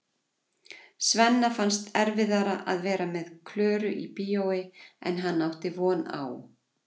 Svenna fannst erfiðara að vera með Klöru í bíói en hann átti von á.